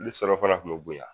Ni surafan kun be bɔ yan